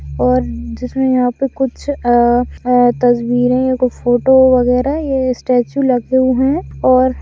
और और जिसमें यहाँ पे कुछ अ अ तस्वीरें कुछ फोटो वगैरह ये स्टेचू लगे हुये है। और--